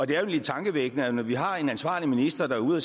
det er jo lidt tankevækkende at man når vi har en ansvarlig minister der er ude at